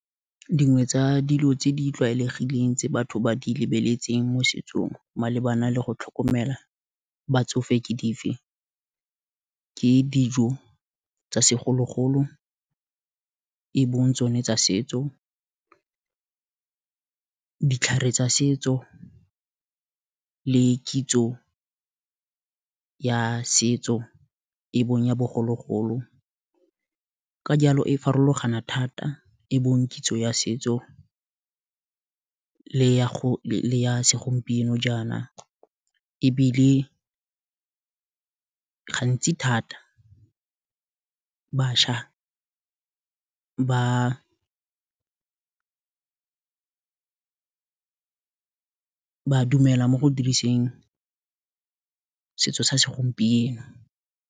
Dingwe tsa dilo tse di tlwaelegileng tse batho ba di lebeletseng mo setsong, malebana le go tlhokomela batsofe ke dife, ke dijo tsa segologolo, e bong tsone tsa setso, ditlhare tsa setso, le kitso ya setso e bong ya bogologolo, ka jalo e farologana thata e bong kitso ya setso, le ya segompieno jaana, ebile gantsi thata batšha ba dumela mo go diriseng, setso sa segompieno.